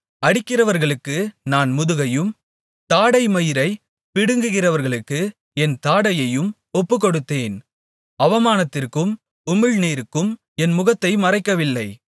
அடிக்கிறவர்களுக்கு என் முதுகையும் தாடைமயிரைப் பிடுங்குகிறவர்களுக்கு என் தாடையையும் ஒப்புக்கொடுத்தேன் அவமானத்திற்கும் உமிழ்நீருக்கும் என் முகத்தை மறைக்கவில்லை